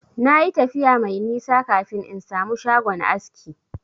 Na yi tafiya mai nisa kafin in samu shagon aski.